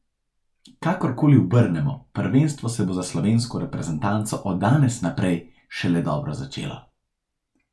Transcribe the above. Kakor koli obrnemo, prvenstvo se bo za slovensko reprezentanco od danes naprej šele dobro začelo.